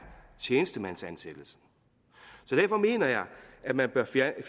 tjenestemandsansættelse så derfor mener jeg at man bør fjerne